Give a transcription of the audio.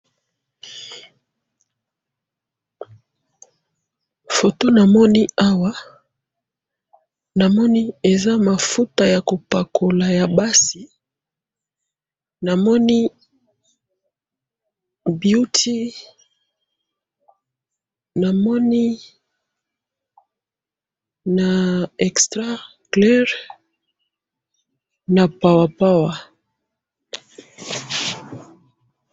Foto namoni awa, namoni eza mafuta yakopakola yabasi, namoni beauty, namoni na extra clair , na Power Power.